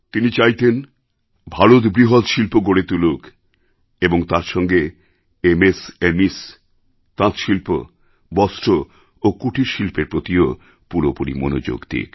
তিনি চাইতেন ভারত বৃহৎ শিল্প গড়ে তুলুক এবং তার সঙ্গে এমএসএমএস তাঁতশিল্প বস্ত্র ও কুটিরশিল্পের প্রতিও পুরোপুরি মনোযোগ দিক